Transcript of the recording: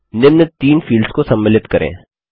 निम्न 3 फील्ड्स को सम्मिलित करें